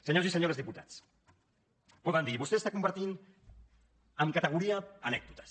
senyors i senyores diputats poden dir vostè converteix en categoria anècdotes